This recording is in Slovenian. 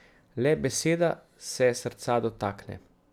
Le beseda se srca dotakne.